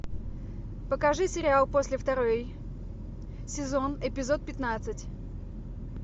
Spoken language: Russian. покажи сериал после второй сезон эпизод пятнадцать